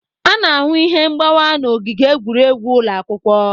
A na-ahụ ihe mgbawa n'ogige egwuregwu ụlọ akwụkwọ.